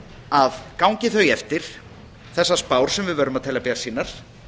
að gangi þau eftir þessar spár sem við verðum að teljast bjartsýnar